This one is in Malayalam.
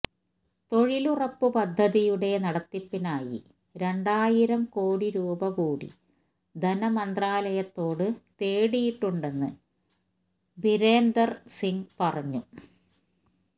തൊഴിലുറപ്പ് പദ്ധതിയുടെ നടത്തിപ്പിനായി രണ്ടായിരം കോടി രൂപകൂടി ധനമന്ത്രാലയത്തോട് തേടിയിട്ടുണ്ടെന്ന് ബിരേന്ദര്സിങ് പറഞ്ഞു